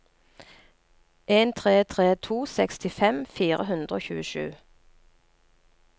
en tre tre to sekstifem fire hundre og tjuesju